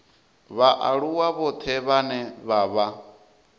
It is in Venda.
vhaaluwa vhoṱhe vhane vha vha